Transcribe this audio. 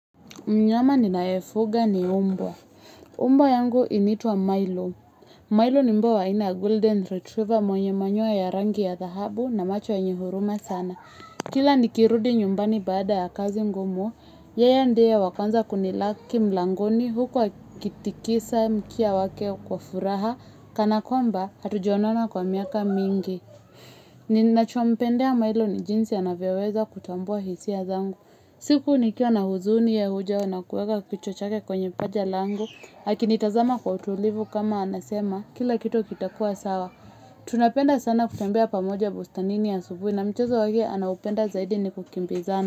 Mnyama ninaefuga ni umbo. Umbwa yangu initwa Milo. Milo ni umbwa ina Golden Retriever mwenye manyuwa ya rangi ya thahabu na macho ya nyehuruma sana. Kila nikirudi nyumbani baada ya kazi ngumu, yeye ndiye wa kwanza kunilaki mlangoni hukwa kitikisa mkia wake kwa furaha, kana kwamba hatujonona kwa miaka mingi. Ninachompendea Milo ni jinsi ya navyeweza kutambua hisi ya zangu. Siku ni kiwa na huzuni ya hujao na kichwa chake kwenye mpaja lango, hakinitazama kwa utulivu kama anasema, kila kitu kitakua sawa. Tunapenda sana kutembea pamoja bustani ya subuhi na mchazo wakia anapenda zaidi ni kukimbizana.